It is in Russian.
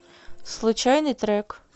случайный трек